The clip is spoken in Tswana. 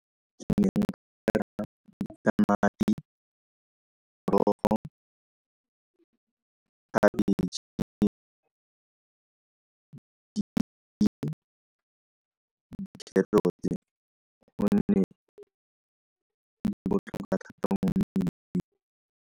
Ke ne nka tamati, khabetšhe, kgerotse ka gonne di botlhokwa thata mo mmeleng.